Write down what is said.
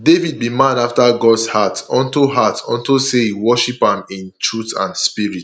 david be man after gods heart unto heart unto say he worship am in truth and spirit